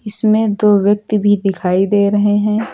इसमें दो व्यक्ति भी दिखाई दे रहे हैं।